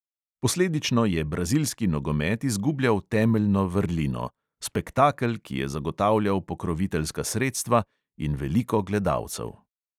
Posledično je brazilski nogomet izgubljal temeljno vrlino – spektakel, ki je zagotavljal pokroviteljska sredstva in veliko gledalcev.